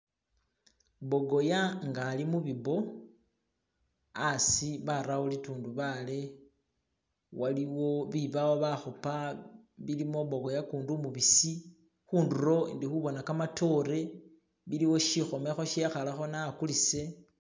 bogoya nga ali mubi bo asi barawo litundubale waliwo bibawo bahupa bilimu bogoya kundi umubisi hunduro indihubona kamatore iliwo shihomeho shehalekho ne akulise